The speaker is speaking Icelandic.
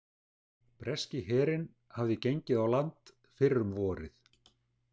Breski herinn hafði gengið á land fyrr um vorið.